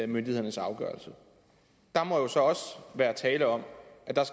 myndighedernes afgørelse der må jo så også være tale om